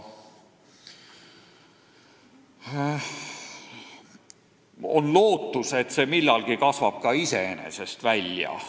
On lootus, et see kasvab millalgi iseenesest välja.